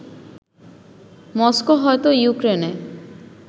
Moscow হয়তো ইউক্রেনে